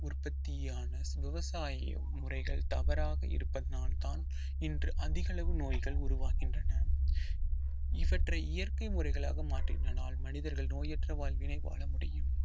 உற்பத்தியான விவசாயி முறைகள் தவறாக இருப்பதனால் தான் இன்று அதிகளவு நோய்கள் உருவாகின்றன இவற்றை இயற்கை முறைகளாக மாற்றியதனால் மனிதர்கள் நோயற்ற வாழ்வினை வாழ முடியும்